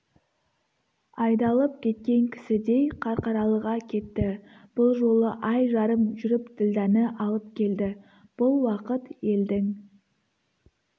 айдалып кеткен кісідей қарқаралыға кетті бұл жолы ай жарым жүріп ділдәні алып келді бұл уақыт елдің